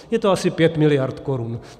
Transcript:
Je to asi 5 miliard korun.